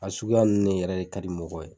A suguya nunnu yɛrɛ de ka di mɔgɔw ye.